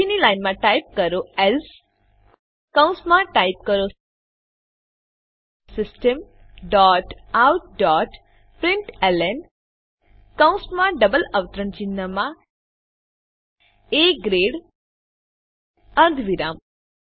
પછીની લાઈનમાં ટાઈપ કરો એલ્સે કૌંસમાં ટાઈપ કરો system dot out dot println કૌંસમાં ડબલ અવતરણ ચિહ્નમાં એ ગ્રેડ અર્ધવિરામ